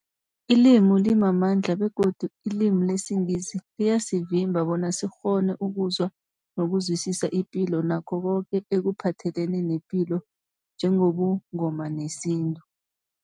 Ilimi limamandla begodu ilimi lesiNgisi liyasivimba bona sikghone ukuzwa nokuzwisisa ipilo nakho koke ekuphathelene nepilo njengobuNgoma nesintu.